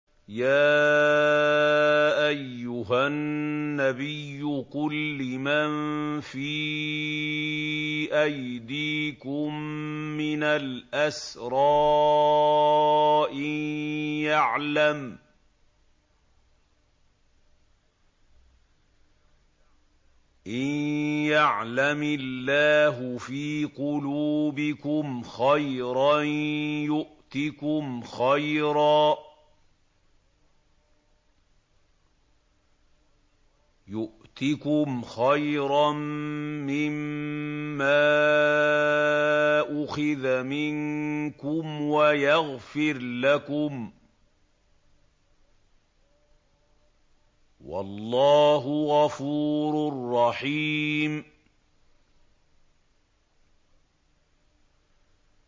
يَا أَيُّهَا النَّبِيُّ قُل لِّمَن فِي أَيْدِيكُم مِّنَ الْأَسْرَىٰ إِن يَعْلَمِ اللَّهُ فِي قُلُوبِكُمْ خَيْرًا يُؤْتِكُمْ خَيْرًا مِّمَّا أُخِذَ مِنكُمْ وَيَغْفِرْ لَكُمْ ۗ وَاللَّهُ غَفُورٌ رَّحِيمٌ